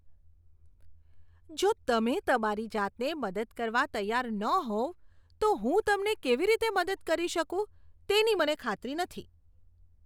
જો તમે તમારી જાતને મદદ કરવા તૈયાર ન હોવ તો હું તમને કેવી રીતે મદદ કરી શકું તેની મને ખાતરી નથી.